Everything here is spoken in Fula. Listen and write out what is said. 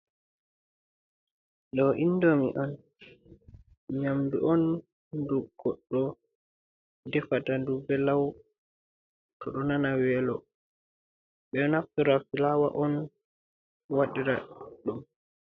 Ɗo inɗomi on. Nyamɗu on ɗum goɗɗo ɗefata ɗum ɓe law to ɗo nana welo. Ɓe ɗo naffira fulawa on waɗira ɗum.